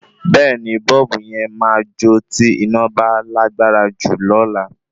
Bẹ́ẹ̀ni bọ́ọ̀bù yen ma jó tí iná bá lágbára jù lola